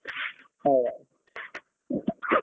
Bye bye.